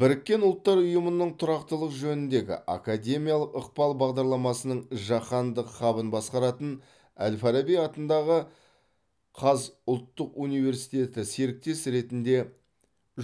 біріккен ұлттар ұйымының тұрақтылық жөніндегі академиялық ықпал бағдарламасының жаһандық хабын басқаратын әл фараби атындағы қаз ұлттық университеті серіктес ретінде